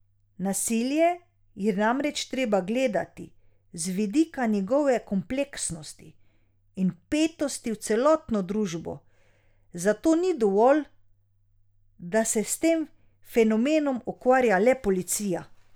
Nasilje je namreč treba gledati z vidika njegove kompleksnosti in vpetosti v celotno družbo, zato ni dovolj, da se s tem fenomenom ukvarja le policija.